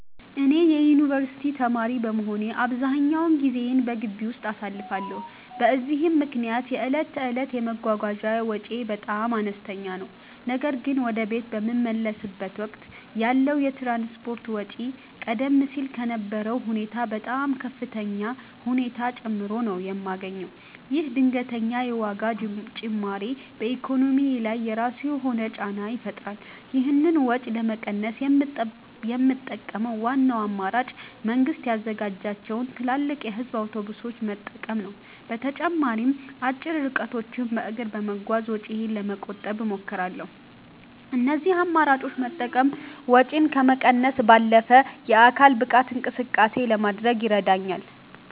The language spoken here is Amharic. እኔ የዩኒቨርሲቲ ተማሪ በመሆኔ አብዛኛውን ጊዜዬን በግቢ ውስጥ አሳልፋለሁ፤ በዚህም ምክንያት የዕለት ተዕለት የመጓጓዣ ወጪዬ በጣም አነስተኛ ነው። ነገር ግን ወደ ቤት በምመለስበት ወቅት ያለው የትራንስፖርት ወጪ ቀደም ሲል ከነበረው ሁኔታ በጣም በከፍተኛ ሁኔታ ጨምሮ ነው የማገኘው። ይህ ድንገተኛ የዋጋ ጭማሪ በኢኮኖሚዬ ላይ የራሱ የሆነ ጫና ይፈጥራል። ይህንን ወጪ ለመቀነስ የምጠቀመው ዋናው አማራጭ መንግስት ያዘጋጃቸውን ትላልቅ የህዝብ አውቶቡሶች መጠቀም ነው። በተጨማሪም አጭር ርቀቶችን በእግር በመጓዝ ወጪዬን ለመቆጠብ እሞክራለሁ። እነዚህን አማራጮች መጠቀም ወጪን ከመቀነስ ባለፈ የአካል ብቃት እንቅስቃሴ ለማድረግም ይረዳኛል።